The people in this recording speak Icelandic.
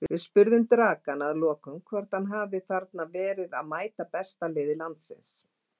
Við spurðum Dragan að lokum hvort hann hafi þarna verið að mæta besta liði landsins?